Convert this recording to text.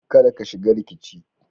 Kada ka shiga rikici.